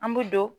An bɛ don